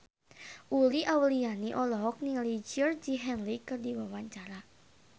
Uli Auliani olohok ningali Georgie Henley keur diwawancara